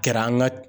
Kɛra an ka